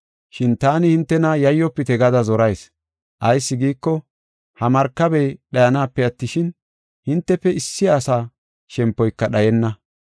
Shin taani hintena yayyofite gada zorayis; ayis giiko, ha markabey dhayanape attishin, hintefe issi asa shempoyka dhayenna.